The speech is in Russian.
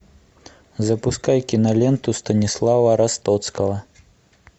запускай киноленту станислава ростоцкого